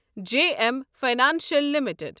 JM financial limited